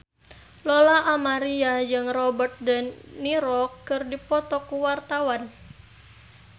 Lola Amaria jeung Robert de Niro keur dipoto ku wartawan